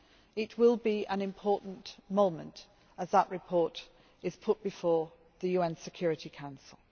It will be an important moment when that report is put before the UN Security Council.